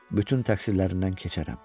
Bütün təqsirlərindən keçərəm.